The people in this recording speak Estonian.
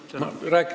Aitäh!